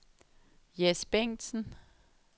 Jess Bengtsen